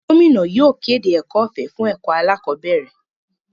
Gómìnà yóò kéde ẹ̀kọ́ ọ̀fẹ́ fún ẹ̀kọ́ alákọ̀bẹ́ẹ́rẹ̀.